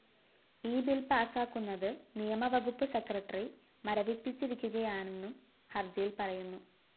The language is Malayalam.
ഈ ബിൽ പാസാക്കുന്നത് നിയമവകുപ്പ് സെക്രട്ടറി മരവിപ്പിച്ചിരിക്കുകയാണെന്നും ഹര്‍ജിയില്‍ പറയുന്നു